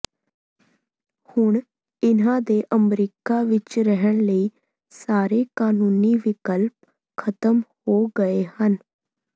ਹੁਣ ਇਨ੍ਹਾਂ ਦੇ ਅਮਰੀਕਾ ਵਿੱਚ ਰਹਿਣ ਲਈ ਸਾਰੇ ਕਾਨੂੰਨੀ ਵਿਕਲਪ ਖਤਮ ਹੋ ਗਏ ਹਨ